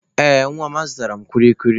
Ee, nwa na azụtara m gị kwili kwili.